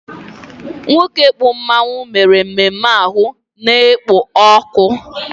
Nwoke kpụ mmanwu mere ememme ahụ na-ekpo ọkụ